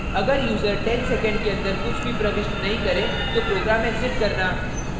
* अगर user 10 seconds के अंदर कुछ भी प्रविष्ट नहीं करे तो program exit करना